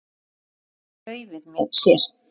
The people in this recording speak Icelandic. Annars skilar laufið sér.